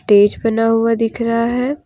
Stage बना हुआ दिख रहा है।